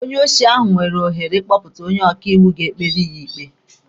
Onye osi nwere ohere ịkpọta onye ọkaiwu ga-ekpere ya ikpe.